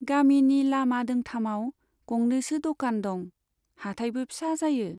गामिनि लामा दोंथामाव गंनैसो द'कान दं , हाटायबो फिसा जायो।